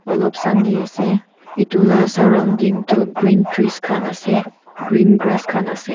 alop sani ase etu laga surrounding tu green trees khan ase green grass khan ase.